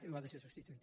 o ha de ser substituït